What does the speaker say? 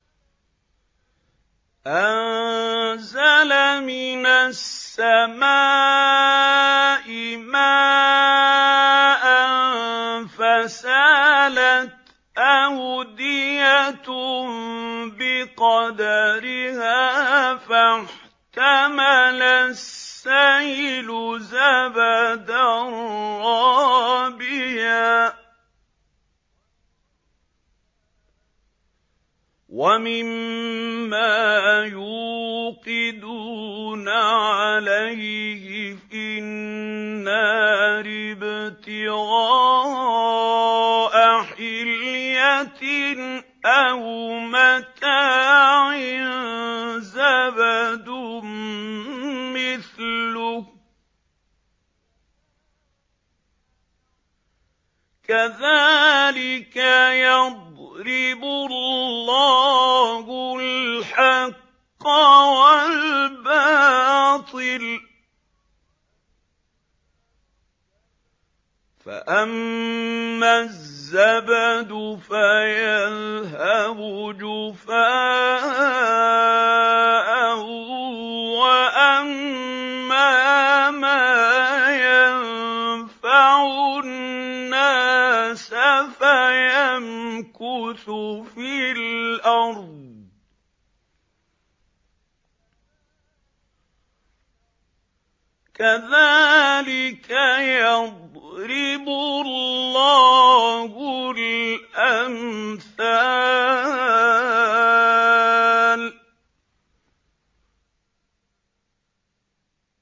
أَنزَلَ مِنَ السَّمَاءِ مَاءً فَسَالَتْ أَوْدِيَةٌ بِقَدَرِهَا فَاحْتَمَلَ السَّيْلُ زَبَدًا رَّابِيًا ۚ وَمِمَّا يُوقِدُونَ عَلَيْهِ فِي النَّارِ ابْتِغَاءَ حِلْيَةٍ أَوْ مَتَاعٍ زَبَدٌ مِّثْلُهُ ۚ كَذَٰلِكَ يَضْرِبُ اللَّهُ الْحَقَّ وَالْبَاطِلَ ۚ فَأَمَّا الزَّبَدُ فَيَذْهَبُ جُفَاءً ۖ وَأَمَّا مَا يَنفَعُ النَّاسَ فَيَمْكُثُ فِي الْأَرْضِ ۚ كَذَٰلِكَ يَضْرِبُ اللَّهُ الْأَمْثَالَ